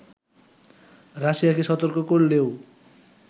রাশিয়াকে সতর্ক করলেও